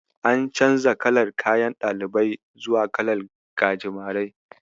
An canja kalar kayan ɗalibai zuwa kalar gajimare.